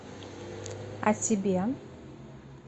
а тебе